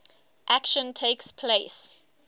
action takes place